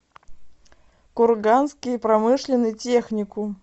курганский промышленный техникум